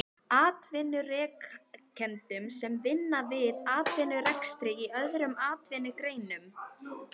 Atvinnurekendum sem vinna að eigin atvinnurekstri í öðrum atvinnugreinum.